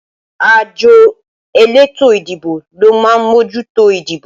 Àjọ elétò ìdìbò ló má mójútó ìdìbò